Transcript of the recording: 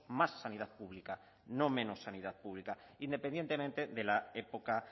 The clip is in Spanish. más sanidad pública no menos sanidad pública independientemente de la época